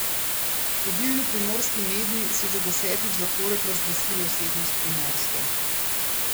Vodilni primorski mediji so že desetič zapored razglasili Osebnost Primorske.